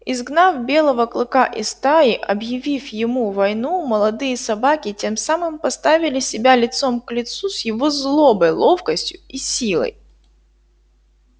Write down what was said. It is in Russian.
изгнав белого клыка из стаи объявив ему войну молодые собаки тем самым поставили себя лицом к лицу с его злобой ловкостью и силой